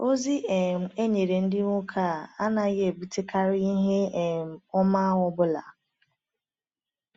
.Ozi um e nyere ndị nwoke a anaghị ebutekarị ihe um ọma ọ bụla.